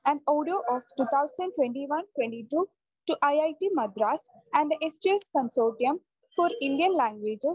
and audio of 2021-22 ഓ ടോ ഇട്ട്‌ മദ്രാസ്‌ ആൻഡ്‌ തെ സ്‌2സ്‌ കൺസോർട്ടിയം ഫോർ ഇന്ത്യൻ ലാംഗ്വേജസ്‌